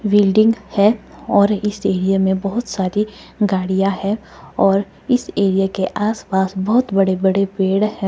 विल्डिंग है और इस एरिये में बहुत सारी गाड़ियां है और इस एरिये के आसपास बहुत बड़े बड़े पेड़ हैं।